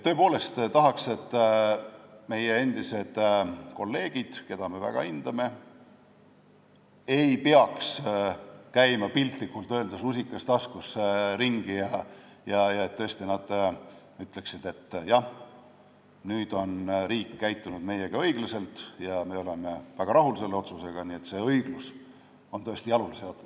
Tõepoolest tahaks, et meie endised kolleegid, keda me väga hindame, ei peaks käima ringi, piltlikult öeldes, rusikas taskus, vaid et nad ütleksid, et jah, nüüd on riik käitunud meiega õiglaselt ja me oleme väga rahul selle otsusega, nii et õiglus on tõesti jalule seatud.